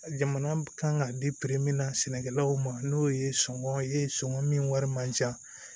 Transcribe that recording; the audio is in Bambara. Jamana kan ka di min na sɛnɛkɛlaw ma n'o ye sɔngɔn ye sɔngɔn min wari man ca